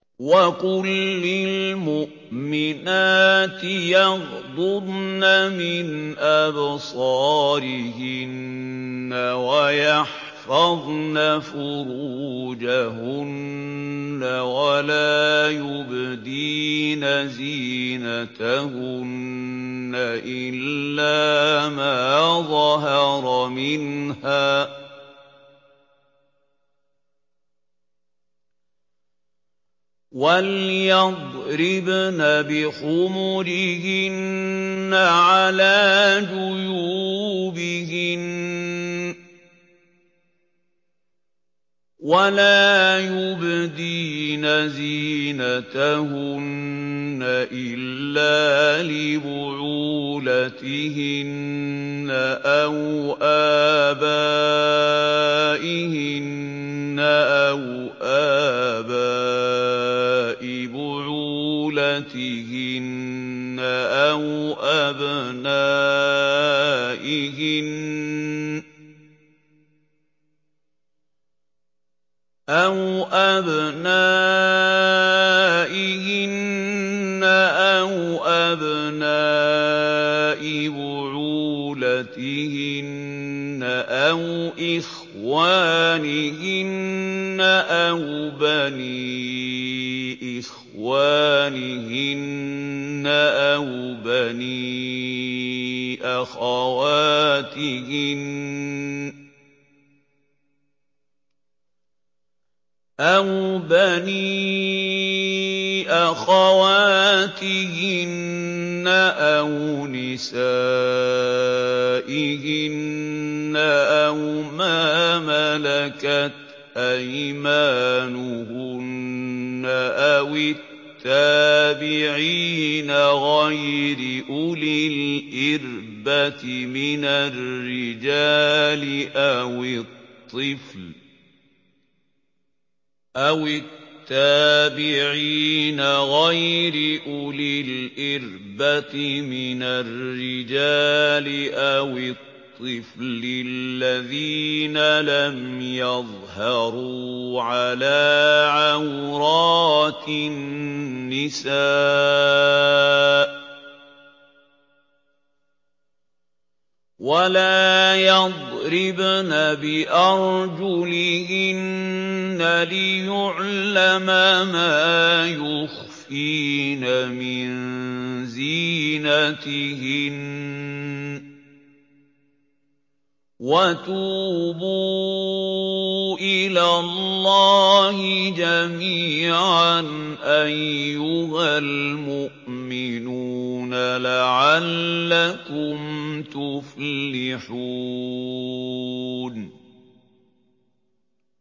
وَقُل لِّلْمُؤْمِنَاتِ يَغْضُضْنَ مِنْ أَبْصَارِهِنَّ وَيَحْفَظْنَ فُرُوجَهُنَّ وَلَا يُبْدِينَ زِينَتَهُنَّ إِلَّا مَا ظَهَرَ مِنْهَا ۖ وَلْيَضْرِبْنَ بِخُمُرِهِنَّ عَلَىٰ جُيُوبِهِنَّ ۖ وَلَا يُبْدِينَ زِينَتَهُنَّ إِلَّا لِبُعُولَتِهِنَّ أَوْ آبَائِهِنَّ أَوْ آبَاءِ بُعُولَتِهِنَّ أَوْ أَبْنَائِهِنَّ أَوْ أَبْنَاءِ بُعُولَتِهِنَّ أَوْ إِخْوَانِهِنَّ أَوْ بَنِي إِخْوَانِهِنَّ أَوْ بَنِي أَخَوَاتِهِنَّ أَوْ نِسَائِهِنَّ أَوْ مَا مَلَكَتْ أَيْمَانُهُنَّ أَوِ التَّابِعِينَ غَيْرِ أُولِي الْإِرْبَةِ مِنَ الرِّجَالِ أَوِ الطِّفْلِ الَّذِينَ لَمْ يَظْهَرُوا عَلَىٰ عَوْرَاتِ النِّسَاءِ ۖ وَلَا يَضْرِبْنَ بِأَرْجُلِهِنَّ لِيُعْلَمَ مَا يُخْفِينَ مِن زِينَتِهِنَّ ۚ وَتُوبُوا إِلَى اللَّهِ جَمِيعًا أَيُّهَ الْمُؤْمِنُونَ لَعَلَّكُمْ تُفْلِحُونَ